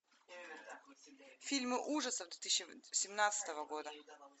фильмы ужасов две тысячи семнадцатого года